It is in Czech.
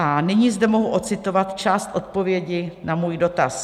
A nyní zde mohu odcitovat část odpovědi na svůj dotaz.